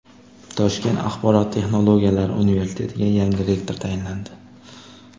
Toshkent axborot texnologiyalari universitetiga yangi rektor tayinlandi.